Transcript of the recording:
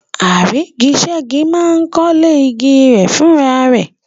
Àrígiṣẹ́gi máa ń kọ́lé igi rẹ̀ fúnra rẹ̀.